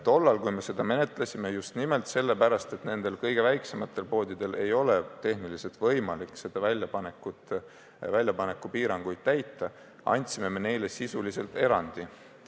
Tollal, kui me seda menetlesime, just nimelt sellepärast, et nendel kõige väiksematel poodidel ei ole tehniliselt võimalik väljapanekupiiranguid täita, andsime me neile sisuliselt erandi.